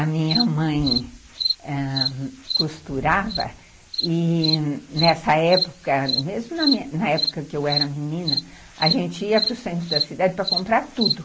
A minha mãe ãh costurava e nessa época, mesmo na época que eu era menina, a gente ia para o centro da cidade para comprar tudo.